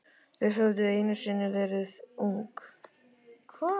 Þau höfðu einu sinni verið ung.